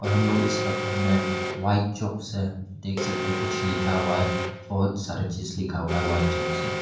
और हम लोग इस पत्थर मे व्हाइट चॉक से देख सकते हैं कुछ लिखा हुआ है बहुत सारे चीज लिखा हुआ है व्हाइट चॉक से।